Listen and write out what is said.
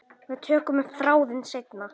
Við tökum upp þráðinn seinna.